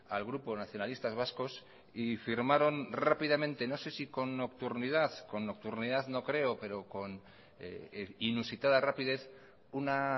al grupo nacionalistas vascos y firmaron rápidamente no sé si con nocturnidad con nocturnidad no creo pero con inusitada rapidez una